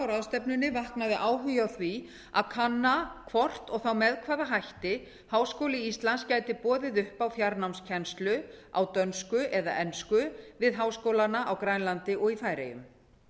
ráðstefnunni vaknaði áhugi á því að kanna hvort og þá með hvaða hætti háskóli íslands gæti boðið upp á fjarnámskennslu á dönsku eða ensku við háskólana á grænlandi og í færeyjum